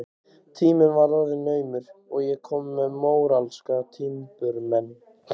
Tíminn var orðinn naumur og ég komin með móralska timburmenn.